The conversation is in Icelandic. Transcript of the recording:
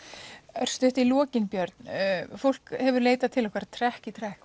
örstutt í lokin Björn fólk hefur leitað til okkar trekk í trekk